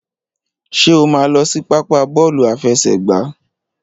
Ṣé o máa lọ sí pápá bọ́ọ̀lù àfẹsẹ̀gbá?